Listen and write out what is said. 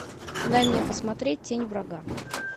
дай мне посмотреть тень врага